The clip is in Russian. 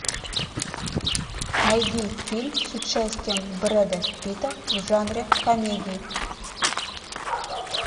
найди фильм с участием брэда питта в жанре комедии